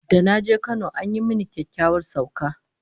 Da na je Kano an yi mini kyakkyawar sauka